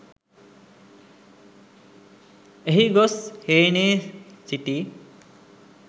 එහි ගොස් හේනේ සිටි